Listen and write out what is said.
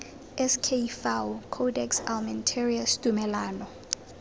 sk fao codex almentarius tumalano